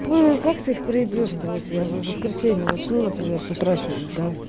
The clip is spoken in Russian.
как ты их проебешь вот я в воскресенье начну например с утра сегодня да